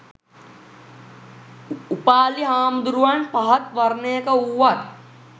උපාලි හාමුදුරුවන් පහත් වර්ණයක වූවත්